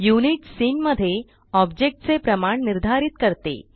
units scene मध्ये object चे प्रमाण निर्धारित करते